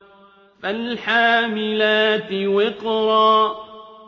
فَالْحَامِلَاتِ وِقْرًا